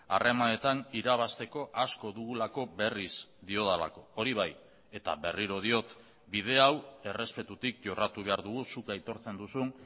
harremanetan irabazteko asko dugulako berriz diodalako hori bai eta berriro diot bide hau errespetutik jorratu behar dugu zuk aitortzen duzun